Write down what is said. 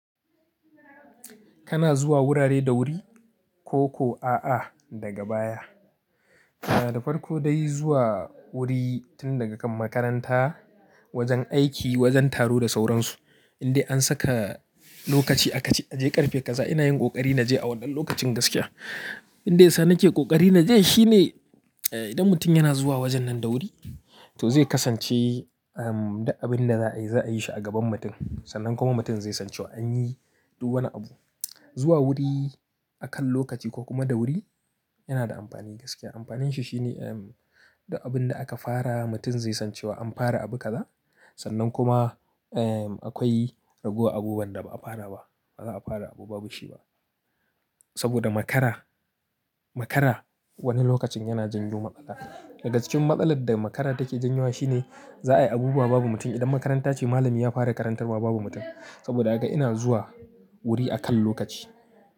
Kana zuwa wurare da wuri, koko a'a daga baya. Kana da farko dai zuwa wuri tun daga kan makaranta wajen aiki, wajen taro da sauran su. Inde an saka lokaci a ka ce, "A je ƙarfe kaza ina yin ƙoƙari na je a wannan lokacin gaskiya." Abinda yasa nake ƙoƙari na je shine, eh, idan mutum yana zuwa wajen nan da wuri to zai kasance, um, duk abin da za'a yi za'a yi shi a gaban mutum sannan kuma mutum zai san cewa an yi duk wani abu. Zuwa wuri akan lokaci ko kuma da wuri yana da amfani gaskiya. Amfanin shi shine, um, da abin da aka fara mutum zai san cewa an fara abu kaza sannan kuma, eh, akwai ragowa abubuwan da ba'a fara ba. Ba za'a fara abu babu shi ba. Saboda makara, makara wani lokacin yana janyo matsala. Daga cikin matsalar da makara take janyo wa shine za'a yi abubuwa babu mutum. Idan makaranta ce malami ya fara karantarwa babu mutum. Saboda haka ina zuwa wuri akan lokaci.